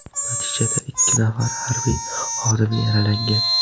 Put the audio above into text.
Natijada ikki nafar harbiy xodim yaralangan.